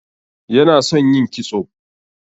Yana son yin kitso.